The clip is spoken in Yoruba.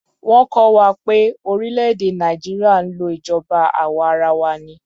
Wọ́n kọ́ wa pé orílè-èdè Nàìjíríà ń lò ìjọba àwa arawa ni.